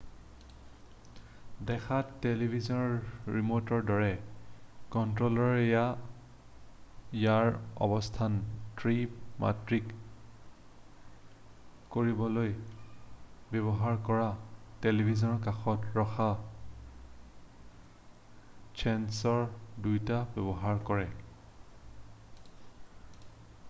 দেখাত টেলিভিছনৰ ৰিম'টৰ দৰে কণ্ট্ৰ'লাৰে ইয়াৰ অৱস্থান ত্ৰি-মাত্ৰিক কৰিবলৈ ব্যৱহাৰকাৰীৰ টেলিভিছনৰ কাষত ৰখা ছেন্সৰ দুটা ব্যৱহাৰ কৰে